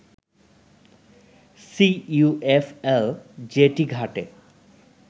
CUFL jetty ঘাটে